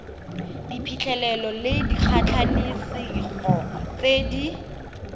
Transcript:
diphitlhelelo le dikatlanegiso tse di